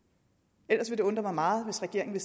det vil undre mig meget hvis regeringen